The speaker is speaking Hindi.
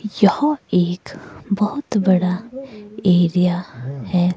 यहां एक बहुत बड़ा एरिया है।